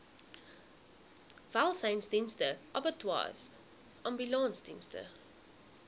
welsynsdienste abattoirs ambulansdienste